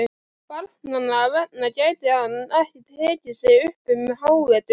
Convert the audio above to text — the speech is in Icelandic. Barnanna vegna gæti hann ekki tekið sig upp um hávetur.